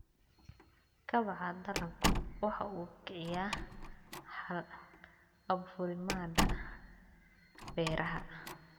Kobaca dalaggu waxa uu kiciyaa hal-abuurnimada beeraha.